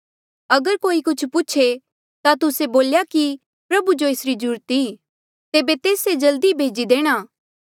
अगर कोई कुछ पूछे ता तुस्से बोल्या कि प्रभु जो एसरी ज्रूरत ई तेबे तेस से जल्दी ई भेजी देणा